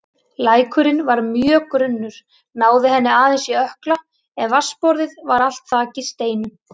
Lækurinn var mjög grunnur, náði henni aðeins í ökkla en vatnsborðið var allt þakið steinum.